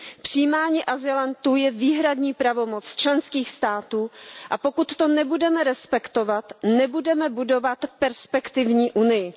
Přijímání azylantů je výhradní pravomoc členských států, a pokud to nebudeme respektovat, nebudeme budovat perspektivní Unii.